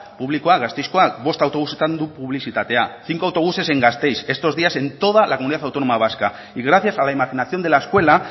publikoak gasteizkoak bost autobusetan du publizitatea cinco autobuses en gasteiz estos días en toda la comunidad autónoma vasca y gracias a la imaginación de la escuela